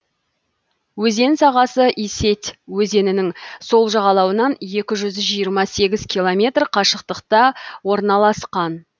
өзен сағасы исеть өзенінің сол жағалауынан екі жүз жиырма сегіз километр қашықтықта орналасқан